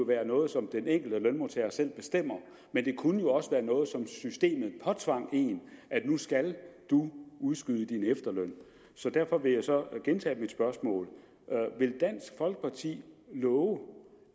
være noget som den enkelte lønmodtager selv bestemte men det kunne også være noget som systemet påtvang en nu skal du udskyde din efterløn derfor vil jeg så gentage mit spørgsmål vil dansk folkeparti love